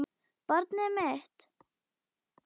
Barnið mitt.